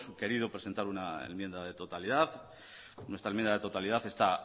querido presentar una enmienda de totalidad nuestra enmienda de totalidad está